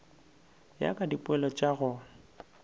ya ka dipoelo tša go